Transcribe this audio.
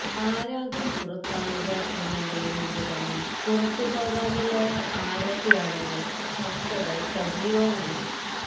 ആരാകും പുറത്താവുക എന്നറിയും മുമ്പ് തന്നെ പുറത്തു പോകാനുള്ളവര് ആരൊക്കെയാണെന്ന് ചര്ച്ചകള് സജീവമാണ്